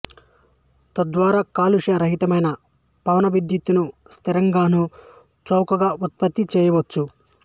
తద్వారా కాలుష్య రహితమైన పవన విద్యుత్ ను సుస్థిరంగాను చౌకగా ఉత్పత్తి చేయవచ్చు